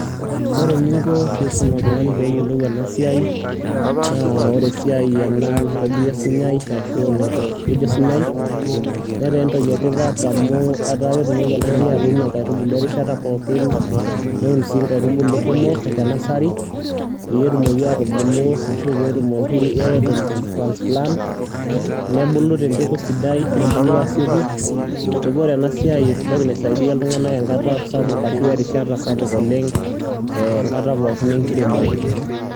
Wore eningo pee isum oltungani peyolou enasiai naa esiai enaa naitobiri osinyai ashu naitekedi osinyai, netaa entoki etipat amu etaa ketumoki oltungani atuuno inkaitubulu erishata pookin niun sii inkaitubulu kumok enasari, peyie etumoki aitubulu ashu peetumoki eton itu transplant nebulu tempeku sidai nebulu aasioki. Niaku wore enasiai entoki naisaidia iltunganak enkata sapuk arashu erishata sapuk oleng enkata pookin enkiremore.